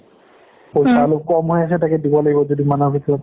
কম হৈ আছে তাকে দিব লাগিব দুদিনমানৰ ভিতৰত।